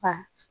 Ka